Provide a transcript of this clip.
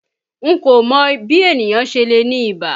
N kò mọ bí ènìyàn ṣe lè ní ibà.